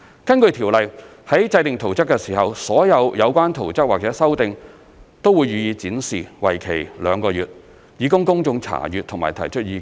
根據該條例，在制訂圖則時，所有有關圖則或修訂都會予以展示，為期兩個月，以供公眾查閱和提出意見。